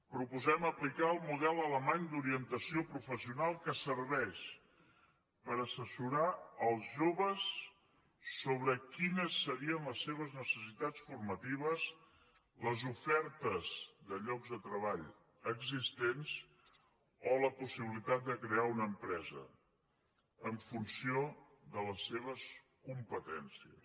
proposem aplicar el model alemany d’orientació professional que serveix per assessorar els joves sobre quines serien les seves necessitats formatives les ofertes de llocs de treball existents o la possibilitat de crear una empresa en funció de les seves competències